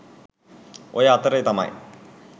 ඔය අතරෙ තමයි